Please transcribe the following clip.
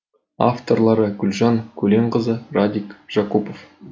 авторлары гүлжан көленқызы радик жакупов